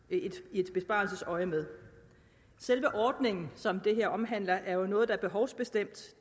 i besparelsesøjemed selve ordningen som det her omhandler er jo noget der er behovsbestemt